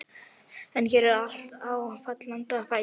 En hér er allt á fallanda fæti.